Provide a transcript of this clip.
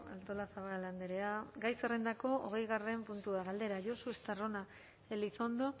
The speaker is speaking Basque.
artolazabal andrea gai zerrendako hogeigarren puntua galdera josu estarrona elizondo